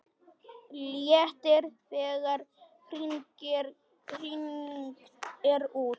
Léttir þegar hringt er út.